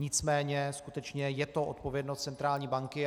Nicméně skutečně je to odpovědnost centrální banky.